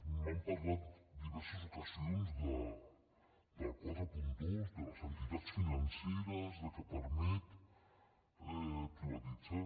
m’han parlat en diverses ocasions del quaranta dos de les entitats financeres que permet privatitzar